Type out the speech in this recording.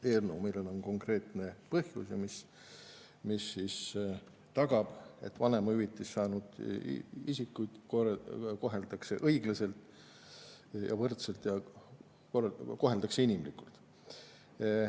Eelnõu, millel on konkreetne põhjus ja mis tagab, et vanemahüvitist saanud isikuid koheldakse õiglaselt ja võrdselt, koheldakse inimlikult.